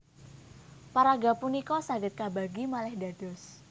Paraga punika saged kabagi malih dados